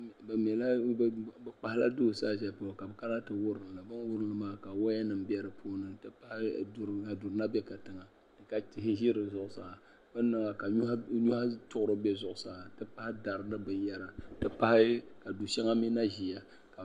Bi kpahala duu zali shɛli polo ka bi kana ti wurimli bi ni wurim maa ka woya nim bɛ di puuni n ti pahi duu ka bɛ tiŋa ka tihi ʒɛ di zuɣusaa bi ni niŋ maa ka nyohi tuɣuri bɛ zuɣusaa n ti pahi dari ni binyɛra n ti pahi ka du shɛŋa mii na ʒiya